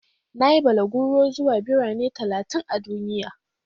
Na yi balaguro zuwa Birane talatin a duniya.